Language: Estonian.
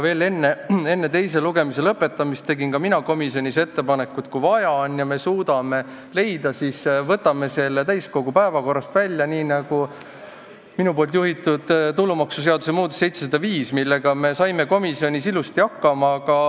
Veel enne teise lugemise lõpetamist tegin ka mina komisjonis ettepaneku, et kui on vaja ja me suudame lahenduse leida, siis võtame selle eelnõu täiskogu päevakorrast välja, nagu minu juhitud tulumaksuseaduse muutmise eelnõu 705, millega me saime komisjonis ilusasti hakkama.